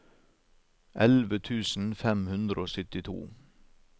elleve tusen fem hundre og syttito